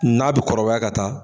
N'a bi kɔrɔbaya ka taa